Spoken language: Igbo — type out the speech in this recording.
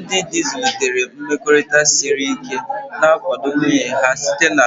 Ndị di zụlitere mmekọrịta siri ike, na-akwado nwunye ha site na